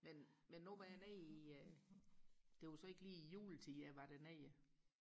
men men nu var jeg nede i det var så ikke lige i juletiden jeg var dernede